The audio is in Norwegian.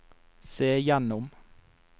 se gjennom